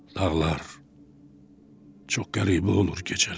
Dağlar çox qəribə olur gecələr.